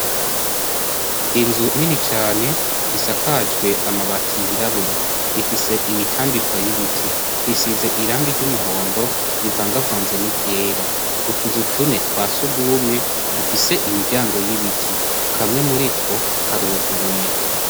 Inzu nini cane isakajwe amabati yirabura ifise imitambikwa y'ibiti, isize irangi ry'umuhondo rivangavanze n'iryera, utuzu twa sugumwe dufise imiryango y'ibiti kamwe muri two karuguruye.